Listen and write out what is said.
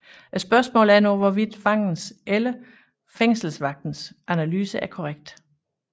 Spørgsmålet er nu hvorvidt fangens eller fængselsvagtens analyse er korrekt